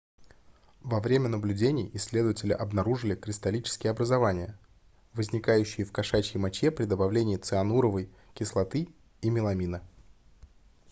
во время наблюдений исследователи обнаружили кристаллические образования возникающие в кошачьей моче при добавлении циануровой кислоты и меламина